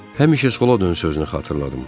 Həmişə sola dön sözünü xatırladım.